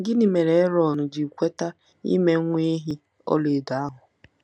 Gịnị mere Erọn ji kweta ime nwa ehi ọlaedo ahụ?